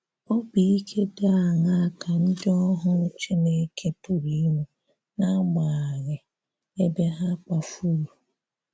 Obì ikè dị aṅaà ka ndị̀ ohù Chinekè pụrụ inwè n’agbà̀ghaghị ebè ha kpafururu?